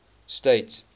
state